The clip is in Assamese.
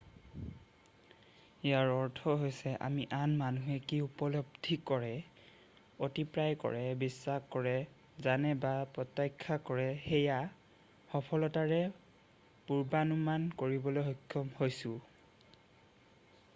ইয়াৰ অৰ্থ হৈছে আমি আন মানুহে কি উপলব্ধি কৰে অভিপ্ৰায় কৰে বিশ্বাস কৰে জানে বা প্ৰত্যাশা কৰে সেয়া সফলতাৰে পূৰ্বানুমান কৰিবলৈ সক্ষম হৈছোঁ